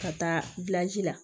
Ka taa la